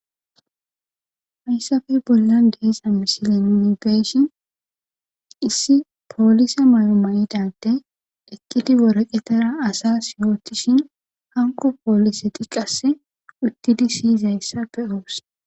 Hayssappe bollan de'iza misilen nuni be'ishin issi poolise mayo mayida adde eqqidi waraqetara asas yootishin hanqo poolise tiqase uttidi siyizayssa be'os.